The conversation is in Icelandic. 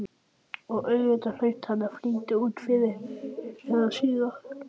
Og auðvitað hlaut hann að flytja út fyrr eða síðar.